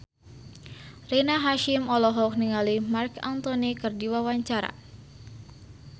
Rina Hasyim olohok ningali Marc Anthony keur diwawancara